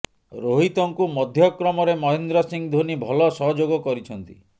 ରୋହିତଙ୍କୁ ମଧ୍ୟକ୍ରମରେ ମହେନ୍ଦ୍ର ସିଂହ ଧୋନି ଭଲ ସହଯୋଗ କରିଛନ୍ତି